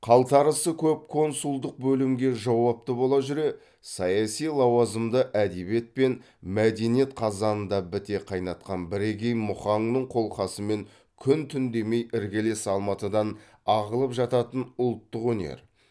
қалтарысы көп консулдық бөлімге жауапты бола жүре саяси лауазымды әдебиет пен мәдениет қазанында біте қайнатқан бірегей мұхаңның қолқасымен күн түн демей іргелес алматыдан ағылып жататын ұлттық өнер